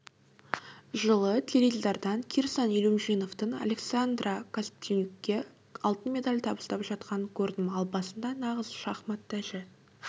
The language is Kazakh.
жылы теледидардан кирсан илюмжиновтің александра костенюкке алтын медаль табыстап жатқанын көрдім ал басында нағыз шахмат тәжі